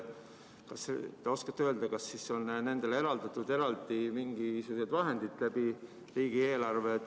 Kas te oskate öelda, kas nendele on riigieelarvest eraldatud mingisugused vahendid?